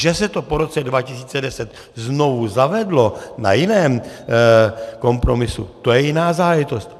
Že se to po roce 2010 znovu zavedlo na jiném kompromisu, to je jiná záležitost.